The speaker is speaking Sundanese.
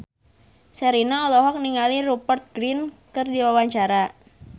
Sherina olohok ningali Rupert Grin keur diwawancara